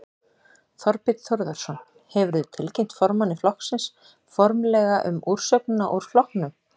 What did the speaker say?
Þorbjörn Þórðarson: Hefurðu tilkynnt formanni flokksins formlega um úrsögnina úr flokknum?